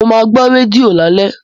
Mo máa gbọ́ rédíò lálẹ́